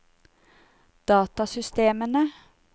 datasystemene